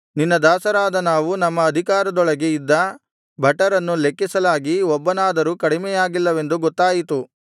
ನಿನ್ನ ದಾಸರಾದ ನಾವು ನಮ್ಮ ಅಧಿಕಾರದೊಳಗೆ ಇದ್ದ ಭಟರನ್ನು ಲೆಕ್ಕಿಸಲಾಗಿ ಒಬ್ಬನಾದರೂ ಕಡಿಮೆಯಾಗಿಲ್ಲವೆಂದು ಗೊತ್ತಾಯಿತು